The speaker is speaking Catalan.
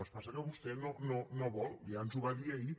el que passa és que vostè no ho vol ja ens ho va dir ahir